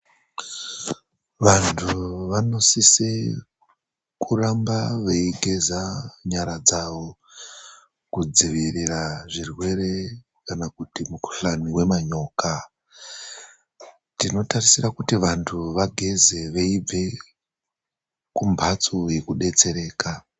Vantu vanosise kuramba veigeza nyara dzavo, kudzivirira zvirwere kana kuti mukhuhlani wemanyoka. Tinotarisira kuti vantu vageze veibve kumhatso yekudetsereka.